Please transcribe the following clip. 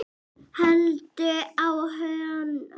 haltu á honum!